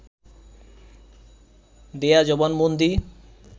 দেয়া জবানবন্দি